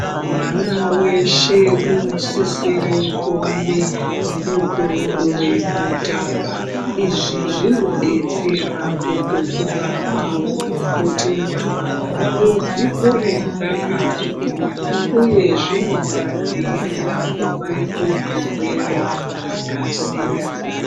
Mwana weshe unosisire kuwane mukuwo wekutamba izvi zvinodetsera kukura kwawo kuti nyama dzawo dzikure dzakagwinya uye zvinoadziirira kubve kuzvirwere zvakasiyana.